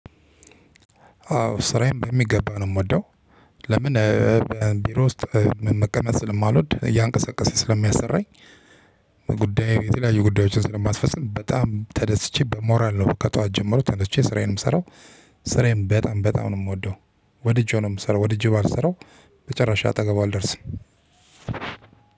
አዎ ስራዬን በሚገባ ነው የምወደው። ለምን? ቢሮ ውስጥ መቀመጥ ስለማልወድ እያንቀሳቀሰ ስለሚያሰራኝ። ጉዳይ የተለያዩ ጉዳዮችን ስለማስፈጽም በጣም ተደስቼ በሞራል ነው። ከጧት ጀመሮ ተነስቼ ስራዬን ምሰራው። ስራዬን በጣም በጣም ነው ምወደው። ወድጄው ነው የምሰራው ወድጄው ባልሰራው። በጭራስ አጠገቡ አልደርስም።